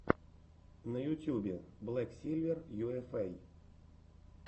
на ютубе блэк сильвер юэфэй